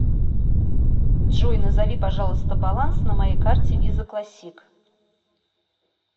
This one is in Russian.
джой назови пожалуйста баланс на моей карте виза классик